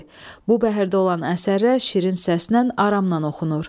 Bu bəhrdə olan əsərlər şirin səslə, aramnan oxunur.